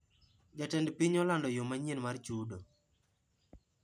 Jatend piny olando yoo manyien mar chudo